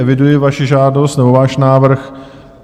Eviduji vaši žádost nebo váš návrh.